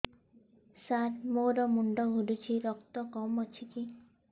ସାର ମୋର ମୁଣ୍ଡ ଘୁରୁଛି ରକ୍ତ କମ ଅଛି କି